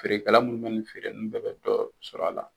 Feerekɛla munnu feere olu bɛɛ bɛ dɔ sɔrɔ a la.